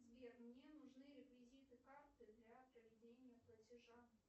сбер мне нужны реквизиты карты для проведения платежа